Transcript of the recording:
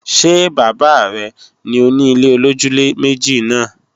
Ṣé bàbá rẹ ni òni ilé-olójúlé-méjì náà?